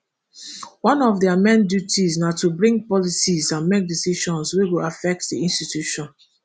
one of dia main duties na to bring policies and make decisions wey go affect di institution